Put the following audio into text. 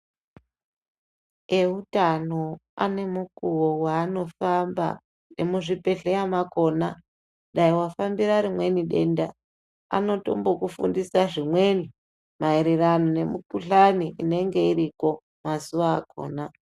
Eutano ane mukuwo waanofamba ngemuzvibhedhleya makhona dai wafambira rimweni denda anotombokufundisa zvimweni maererano nemikuhlani inenge iriko mazuwa akhona.